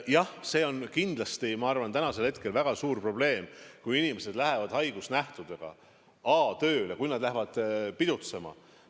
Jah, see on kindlasti, ma arvan, täna väga suur probleem, kui inimesed lähevad haigusnähtudega tööle, kui nad lähevad pidutsema.